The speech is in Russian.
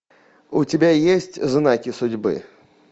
у тебя есть знаки судьбы